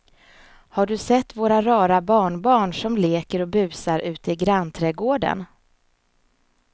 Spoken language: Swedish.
Har du sett våra rara barnbarn som leker och busar ute i grannträdgården!